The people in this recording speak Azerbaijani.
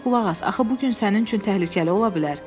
Ancaq qulaq as, axı bu gün sənin üçün təhlükəli ola bilər.